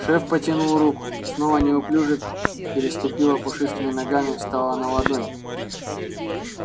шеф потянул руку снова неуклюже переступила пушистыми ногами встала на ладонь